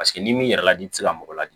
Paseke n'i m'i yɛrɛ ladon i tɛ se ka mɔgɔ ladi